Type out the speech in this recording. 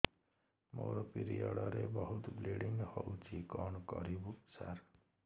ମୋର ପିରିଅଡ଼ ରେ ବହୁତ ବ୍ଲିଡ଼ିଙ୍ଗ ହଉଚି କଣ କରିବୁ ସାର